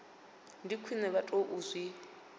ndi khwine vha tou zwi